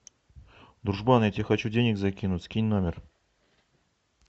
дружбан я тебе хочу денег закинуть скинь номер